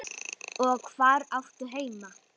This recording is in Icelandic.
Og hvar áttu heima?